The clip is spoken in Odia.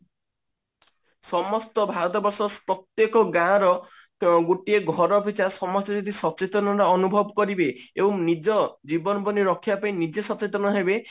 ସମସ୍ତ ଭାରତବର୍ଷ ପ୍ରତ୍ଯେକ ଗାଁ ର ଗୋଟିଏ ଘର ପିଛା ସମସ୍ତେ ଯଦି ସଚେତନତା ଅନୁଭବ କରିବେ ଏବଂ ନିଜ ଜୀବନ ରକ୍ଷା ପାଇଁ ନିଜେ ସଚେତନ ହେବେ